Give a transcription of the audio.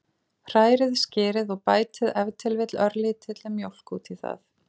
Hrærið skyrið og bætið ef til vill örlítilli mjólk út í það.